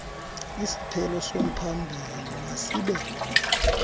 isiphelo somphambili masibe